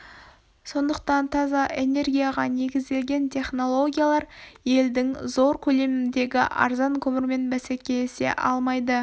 сондықтан таза энергияға негізделген технологиялар елдің зор көлемдегі арзан көмірімен бәсекелесе алмайды